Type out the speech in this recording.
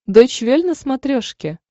дойч вель на смотрешке